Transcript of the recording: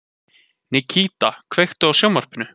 Nikíta, kveiktu á sjónvarpinu.